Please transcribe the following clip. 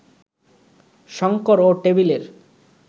শঙ্কর ও টেবিলের